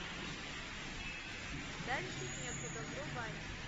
дальше некуда врубай